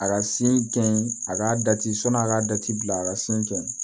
A ka sin gɛn a ka a ka dati bila a ka sin gɛn